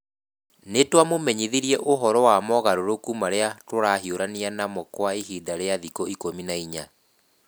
Nĩ twamũmenyithirie ũhoro wa mogarũrũku marĩa tũrahiũrania namo Kwa ihinda rĩa thikũ 14 .